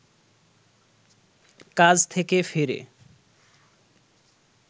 কাজ থেকে ফিরে